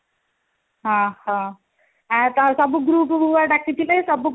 ଅହହୋ ଆଉ ସବୁ groupକୁ ବା ଡ଼ାକିଥିଲେ ସବୁ group